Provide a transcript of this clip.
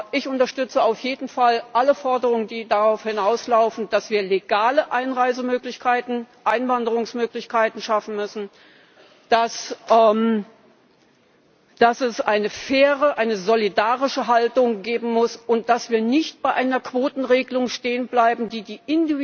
Ich unterstütze auf jeden Fall alle Forderungen, die darauf hinauslaufen, dass wir legale Einwanderungsmöglichkeiten schaffen müssen, dass es eine faire, eine solidarische Haltung geben muss und dass wir nicht bei einer Quotenregelung stehen bleiben, die